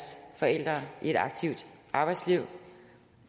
forældre i et aktivt arbejdsliv at